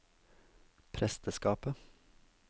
presteskapet